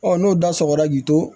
n'o da sɔgɔra k'i to